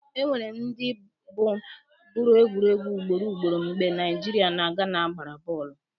Enwere ndị bụ gụrụ egwu ugboro ugboro mgbe Naijiria na Gana gbara bọọlụ.